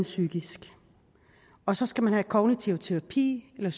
psykisk og så skal man have kognitiv terapi eller